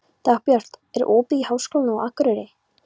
Dagbjört, er opið í Háskólanum á Akureyri?